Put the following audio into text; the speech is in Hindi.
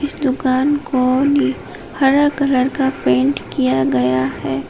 इस दुकान को नि हरा कलर का पेंट किया गया है।